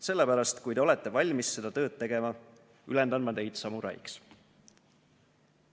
Sellepärast, kui te olete valmis seda tööd tegema, ülendan ma teid samuraiks."